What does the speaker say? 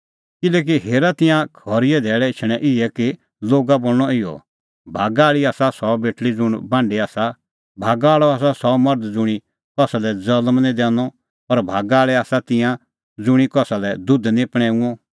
किल्हैकि हेरा तिंयां खरीए धैल़ै एछणैं इहै कि लोगा बोल़णअ इहअ भागा आल़ी आसा सह बेटल़ी ज़ुंण बांढी आसा भागा आल़अ आसा सह गर्भ ज़ुंणी कसा लै ज़ल्म निं दैनअ और भागा आल़ै आसा तिंयां दुधू ज़ुंणी कसा दै दुध निं पणैंऊंअ